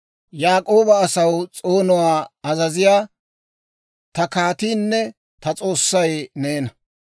Yaak'ooba asaw s'oonuwaa azaziyaa, ta kaatiinne ta S'oossay neena.